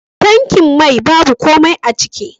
Tankin mai babu komai aciki.